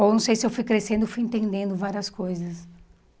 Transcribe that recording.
ou não sei se eu fui crescendo, fui entendendo várias coisas.